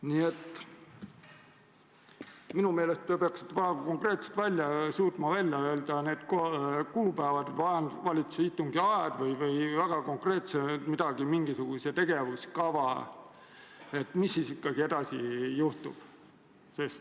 Nii et minu meelest te peaksite suutma väga konkreetselt välja öelda need kuupäevad, vähemalt valitsuse istungi aja või mingisuguse tegevuskava, mis siis ikkagi edasi saab.